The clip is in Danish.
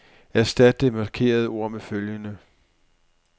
Erstat det markerede ord med følgende.